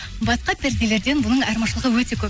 басқа перделерден бұның айырмашылығы өте көп